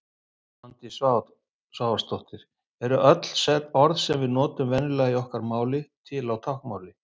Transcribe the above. Svandís Svavarsdóttir Eru öll orð sem við notum venjulega í okkar máli til á táknmáli?